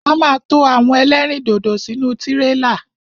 A ma to àwọn ẹlẹ́rìndòdò sínú tírélà.